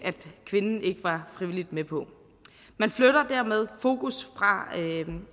kvinden ikke var frivilligt med på man flytter dermed fokus